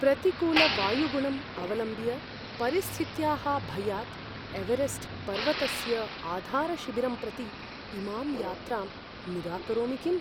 प्रतिकूलवायुगुणम् अवलम्ब्य, परिस्थित्याः भयात् एवेरेस्ट् पर्वतस्य आधारशिबिरं प्रति इमां यात्रां निराकरोमि किम्?